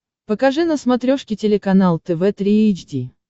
покажи на смотрешке телеканал тв три эйч ди